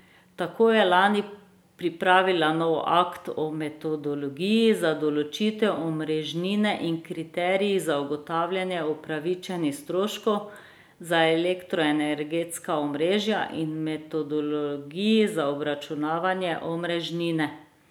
Tako je lani pripravila novi akt o metodologiji za določitev omrežnine in kriterijih za ugotavljanje upravičenih stroškov za elektroenergetska omrežja in metodologiji za obračunavanje omrežnine.